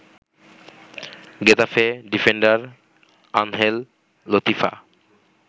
Getafe defender Angel Latifa